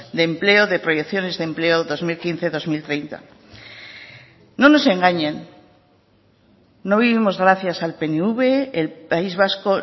de empleo de proyecciones de empleo dos mil quince dos mil treinta no nos engañen no vivimos gracias al pnv el país vasco